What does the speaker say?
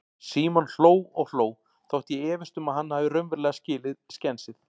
Símon hló og hló, þótt ég efist um að hann hafi raunverulega skilið skensið.